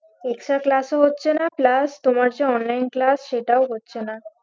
Extra class ও হচ্ছে না plus তোমার যে online class সেটাও হচ্ছে না